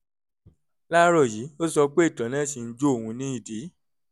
láàárọ̀ yìí ó sọ pé ìtọ̀ náà ṣì ń jó òun ní ìdí